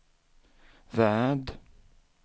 värld